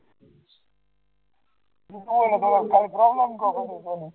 હું કહો એટલે તમારી ખાલી problem કહો